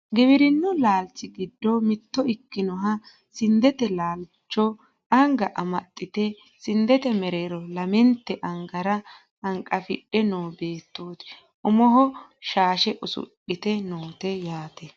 giwirinnu laalchi giddo mitto ikinoha sindete laalcho anga amaxxite sindete mereero lametnte angara hanqafidhe noo beettooti umoho shaahse usudhitinote yaate